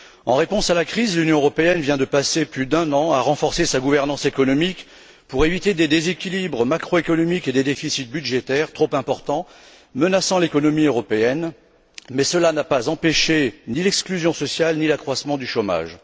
En réponse à la crise, l'Union européenne vient de passer plus d'un an à renforcer sa gouvernance économique pour éviter des déséquilibres macroéconomiques et des déficits budgétaires trop importants, menaçant l'économie européenne, mais cela n'a empêché ni l'exclusion sociale, ni l'accroissement du chômage.